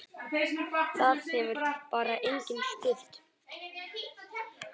Það hefur bara enginn spurt